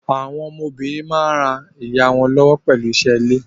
Àwọn ọmọ obìnrin máa ń ràa ìyá wọn lọ́wọ́ pẹ̀lú isé ilé.